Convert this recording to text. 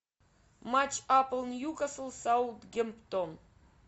матч апл ньюкасл саутгемптон